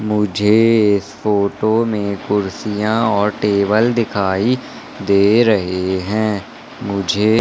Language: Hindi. मुझे इस फोटो में कुर्सियां और टेबल दिखाई दे रहे हैं। मुझे--